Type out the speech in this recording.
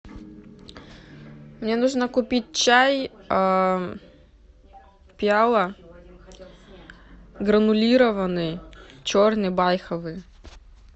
мне нужно купить чай пиала гранулированный черный байховый